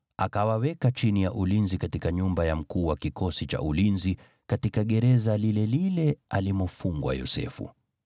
akawaweka chini ya ulinzi katika nyumba ya mkuu wa kikosi cha ulinzi katika gereza lile lile alimofungwa Yosefu.